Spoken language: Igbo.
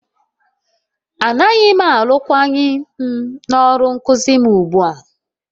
Ana m arụkwaghịm n'ọrụ nkuzi m ugbu a